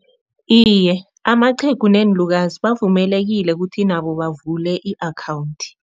Iye, amaqhegu neenlukazi bavumelekile kuthi nabo bavule i-akhawundi.